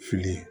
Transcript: Fili